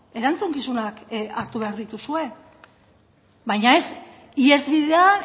erantzukizunak hartu behar dituzue baina ez ihesbidea